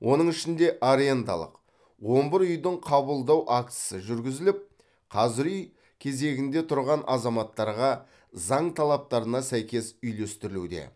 оның ішінде арендалық он бір үйдің қабылдау актісі жүргізіліп қазір үй кезегінде тұрған азаматтарға заң талаптарына сәйкес үйлестірілуде